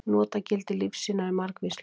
Notagildi lífsýna eru margvísleg.